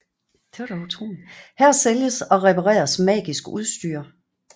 Her sælges og repareres magisk udstyr